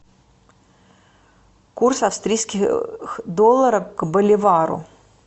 курс австрийских долларов к боливару